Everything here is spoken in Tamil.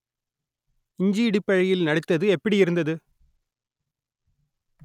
இஞ்சி இடுப்பழகியில் நடித்தது எப்படியிருந்தது